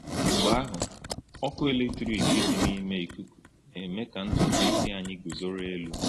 Mgbe ahụ, ọkụ eletrik dị n’ime ikuku na-eme ka ntutu isi anyị guzoro elu.